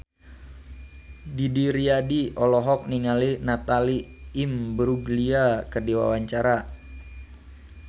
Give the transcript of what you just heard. Didi Riyadi olohok ningali Natalie Imbruglia keur diwawancara